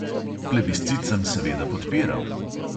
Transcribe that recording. Plebiscit sem seveda podpiral.